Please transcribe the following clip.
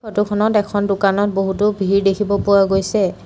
Photo খনত এখন দোকানত বহুতো ভিৰ দেখিব পোৱা গৈছে।